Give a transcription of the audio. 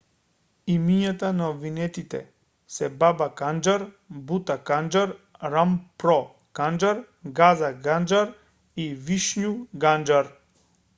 имињата на обвинетите се баба канџар бута канџар рампро канџар газа канџар и вишну канџар